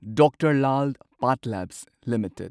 doctor Lal PathLabs limited